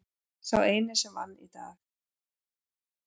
Sá eini sem vann í dag.